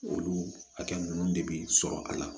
Olu hakɛ ninnu de bɛ sɔrɔ a la